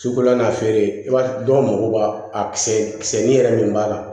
Sukolan na feere i b'a dɔn dɔw mago b'a kisɛ kisɛ ni yɛrɛ min b'a la